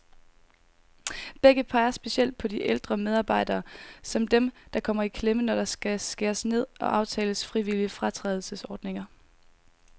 Begge peger specielt på de ældre medarbejdere, som dem, der kommer i klemme, når der skal skæres ned og aftales frivillige fratrædelsesordninger.